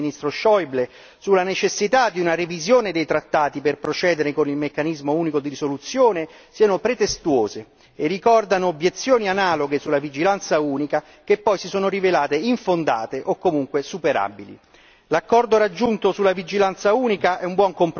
Da questo punto di vista, mi sembra che le recenti posizioni del ministro Scheuble sulla necessità di una revisione dei trattati per procedere con il meccanismo unico di risoluzione siano pretestuose e ricordano obiezioni analoghe sulla vigilanza unica che poi si sono rivelate infondate o comunque superabili.